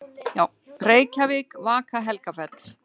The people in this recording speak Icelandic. Reykjavík: Vaka-Helgafell.